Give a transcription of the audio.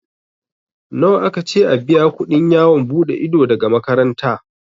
Nawa aka ce a biya kuɗin yawon buɗe ido daga makaranta?